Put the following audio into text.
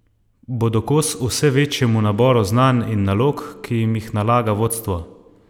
Bodo kos vse večjemu naboru znanj in nalog, ki jim jih nalaga vodstvo?